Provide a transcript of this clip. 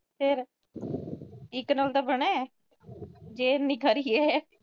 ਫਿਰ ਇੱਕ ਨਾਲ ਤਾਂ ਬਣੇੇ, ਜੇ ਇੰਨੀ ਖਰੀ ਏ।